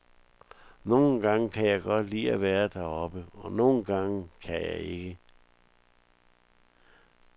Nogle gange kan jeg godt lide at være deroppe, og nogle gange kan jeg ikke.